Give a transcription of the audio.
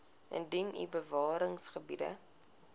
indien u bewaringsgebiede